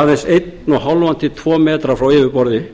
aðeins eitt og hálft til tveggja m frá yfirborði